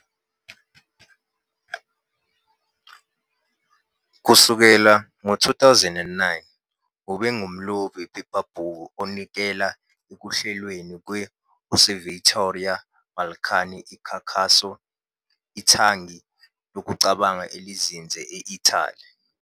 Kusukela ngo-2009, ube ngumlobi wephephabhuku onikela ekuhlelweni kwe- Osservatorio Balcani e Caucaso, ithangi lokucabanga elizinze e-Italy.